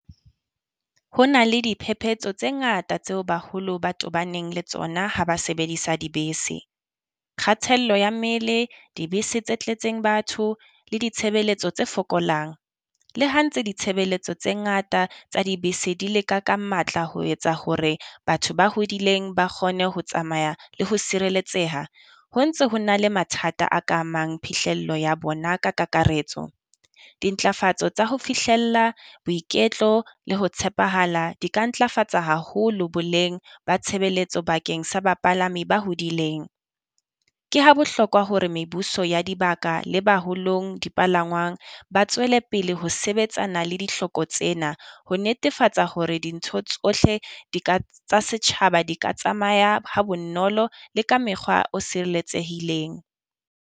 Ho na le diphephetso tse ngata tseo baholo ba tobaneng le tsona ha ba sebedisa dibese. Kgathello ya mmele dibese tse tletseng batho le ditshebeletso tse fokolang. Le ha ntse ditshebeletso tse ngata tsa dibese di le ka ka matla ho etsa hore batho ba hodileng ba kgone ho tsamaya le ho sireletseha. Ho ntse ho na le mathata a ka amang phihlello ya bona ka kakaretso. Dintlafatso tsa ho fihlella boiketlo le ho tshepahala di ka ntlafatsa haholo boleng ba tshebeletso bakeng sa bapalami ba hodileng. Ke ha bohlokwa hore mebuso ya dibaka le baholong dipalangwang ba tswele pele ho sebetsana le dihloko tsena. Ho netefatsa hore dintho tsohle di ka tsa setjhaba di ka tsamaya ha bonolo le ka mekgwa o sireletsehileng.